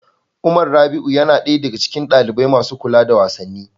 Umar Rabi'u yana ɗaya daga cikin ɗalibai masu kula da wasanni.